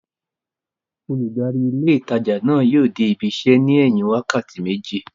Olùdarí ilé ìtajà náà yóò dé ibi isẹ́ ní ẹ̀yìn wákàtí méjì